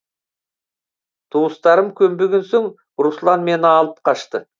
туыстарым көнбеген соң руслан мені алып қашты